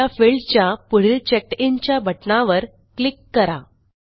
दाता field च्या पुढील चेकडिन च्या बटणावर क्लिक करा